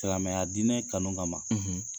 Silamɛya diinɛ kanu kama ma,